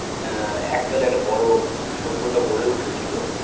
আ এককালে একটা বড় সভ্যতা গড়ে উঠেছিল